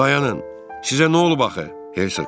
Dayanın, sizə nə olub axı, Hersoq?